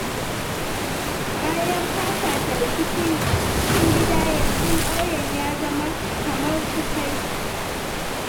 Bayan fafata rikicin cikin gida, yanzu ƙauyen ya zama kamar kufai.